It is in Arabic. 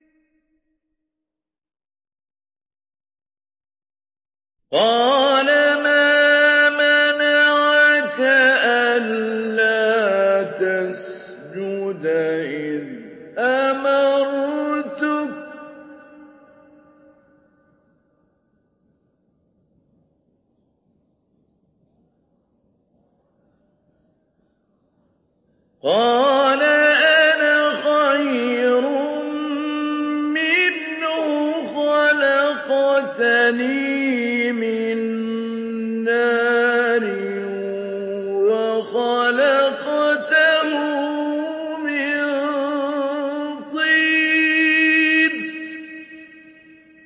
قَالَ مَا مَنَعَكَ أَلَّا تَسْجُدَ إِذْ أَمَرْتُكَ ۖ قَالَ أَنَا خَيْرٌ مِّنْهُ خَلَقْتَنِي مِن نَّارٍ وَخَلَقْتَهُ مِن طِينٍ